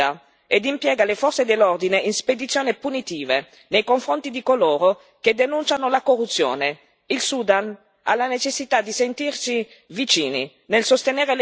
Il regime autocratico di Omar al Bashir si dimostra liberticida ed impiega le forze dell'ordine in spedizione punitive nei confronti di coloro che denunciano la corruzione.